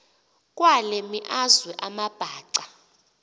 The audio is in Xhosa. kwale meazwe amabhaca